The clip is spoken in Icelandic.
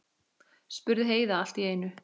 spurði Heiða allt í einu.